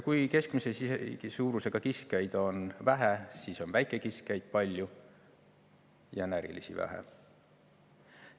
Kui keskmise suurusega kiskjaid on vähe, siis on väikekiskjaid palju ja närilisi vähem.